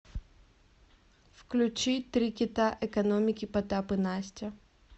включи три кита экономики потап и настя